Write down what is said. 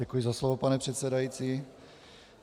Děkuji za slovo, pane předsedající.